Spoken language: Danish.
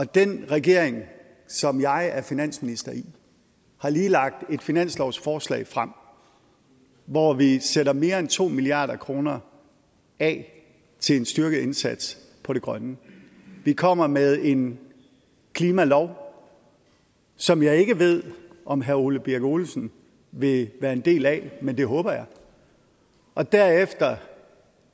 den regering som jeg er finansminister i har lige lagt et finanslovsforslag frem hvor vi sætter mere end to milliard kroner af til en styrket indsats på det grønne vi kommer med en klimalov som jeg ikke ved om herre ole birk olesen vil være en del af men det håber jeg og derefter